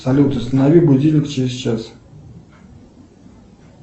салют установи будильник через час